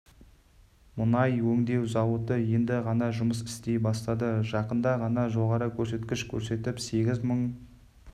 мұнай өңдеу зауыты енді ғана жұмыс істей бастады жақында ғана жоғарғы көрсеткіш көрсетіп сегіз мың